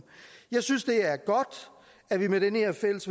jeg synes det er godt at vi med det her fælles